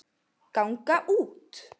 ganga út